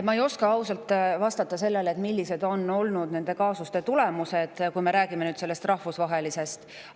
Ma ei oska vastata sellele, millised on olnud nende kaasuste tulemused, kui me räägime rahvusvahelistest.